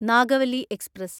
Nagavalli express